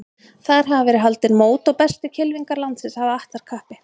Þar hafa verið haldin mót og bestu kylfingar landsins hafa att þar kappi.